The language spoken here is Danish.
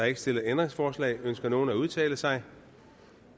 ikke stillet ændringsforslag ønsker nogen at udtale sig